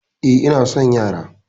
Eh, ina son yara